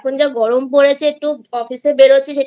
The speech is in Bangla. সারাক্ষণ যা গরম পড়েছে অফিসে বেরোছিস